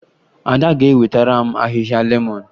Ada ga-ewetara m ahịhịa lemọn